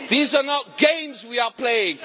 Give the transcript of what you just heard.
These are not games we are playing.